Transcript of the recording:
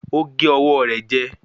Ó gé ọwọ́ rẹ̀ jẹ